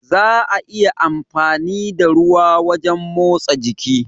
Za'a iya amfani da ruwa wajen motsa jiki.